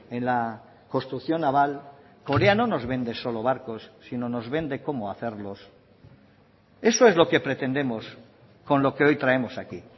en la construcción naval corea no nos vende solo barcos sino nos vende cómo hacerlos eso es lo que pretendemos con lo que hoy traemos aquí